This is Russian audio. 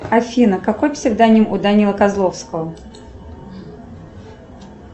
афина какой псевдоним у данилы козловского